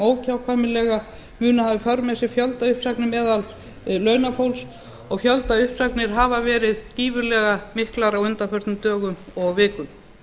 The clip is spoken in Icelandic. óhjákvæmilega munu hafa í för með sér fjöldauppsagnir meðal launafólks og fjöldauppsagnir hafa verið gífurlega miklar á undanförnum dögum og vikum